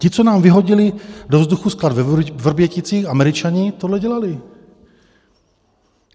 Ti, co nám vyhodili do vzduchu sklad ve Vrběticích, Američané, tohle dělali.